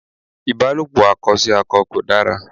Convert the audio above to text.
Ìbálòpò akọ sí akọ kò dára.